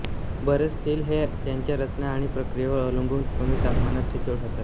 बरेच स्टील्स हे त्यांच्या रचना आणि प्रक्रियेवर अवलंबून कमी तापमानात ठिसूळ होतात